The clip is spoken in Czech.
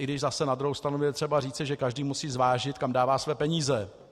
I když zase na druhou stranu je třeba říci, že každý musí zvážit, kam dává své peníze.